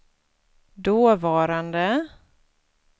dåvarande